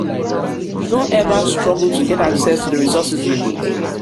you don ever struggle to get access to di resources you need?